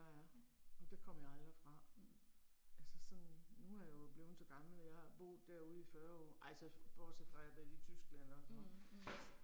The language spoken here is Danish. Ja. Mhm mhm. Mh, mh